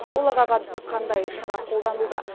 оларға қатысты қандай шара қолданылды